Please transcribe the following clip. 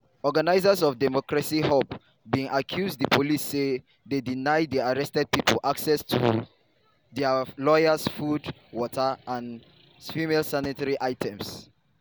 organizers of democracy hub bin accuse di police say dey deny di arrested pipo access to dia lawyers food water and female sanitary items.